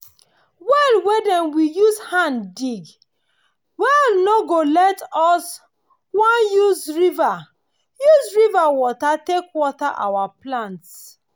well wey dem we use hand dig well nor go let us wan use river use river water take water our plants.